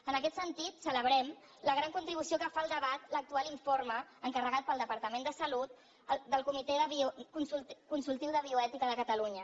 en aquest sentit celebrem la gran contribució que fa al debat l’actual informe encarregat pel departament de salut del comitè consultiu de bioètica de catalunya